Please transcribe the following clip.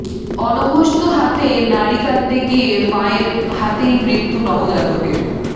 অনভ্যস্ত হাতে নাড়ি কাটতে গিয়ে মায়ের হাতেই মৃত্যু নবজাতকের